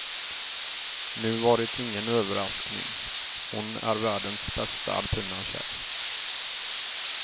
Nu var det ingen överraskning, hon är världens bästa alpina tjej.